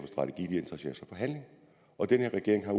for handling og den her regering har